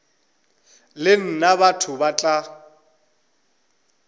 le nna batho ba tla